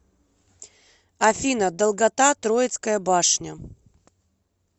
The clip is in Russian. афина долгота троицкая башня